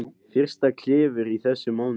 Fyrsta klifur í þessum mánuði